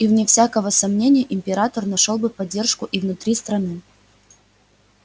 и вне всякого сомнения император нашёл бы поддержку и внутри страны